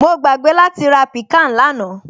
Mo gbàgbé láti ra piccan lánàá